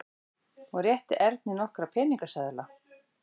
Hún rétti Erni nokkra peningaseðla.